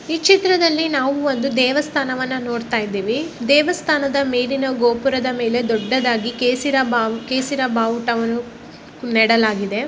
ಈ ಚಿತ್ರದಲ್ಲಿ ನಾವು ಒಂದು ದೇವಸ್ಥಾನವನ್ನ ನೋಡತ್ತಾ ಇದ್ದಿವಿ ದೇವಸ್ಥಾನ ಮೇಲಿನ ಗೋಪುರದ ಮೇಲೆ ದೊಡ್ಡದಾಗಿ ಕೇಸಿರ ಕೇಸಿರ ಬಾವುಟವನ್ನು ನೆಡಲಾಗಿದೆ .